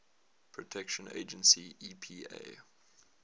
protection agency epa